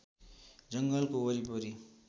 जङ्गलको वरिपरि